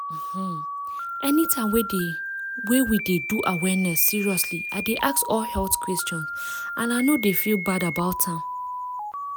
um anytime wey we dey do awareness seriously i dey ask all health question and i no dey feel bad about am.